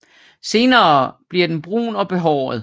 Senere blver den brun og behåret